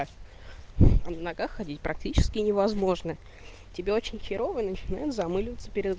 иногда ходить практически невозможно тебе очень херово начинают задумываться перед